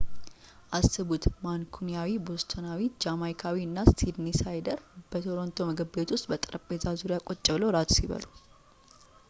አስቡት ማንኩኒያዊ ቦስተናዊ ጃማይካዊ እና ሲድኒሳይደር በቶሮንቶ ምግብ ቤት ውስጥ በጠረጴዛ ዙሪያ ቁጭ ብለው እራት ሲበሉ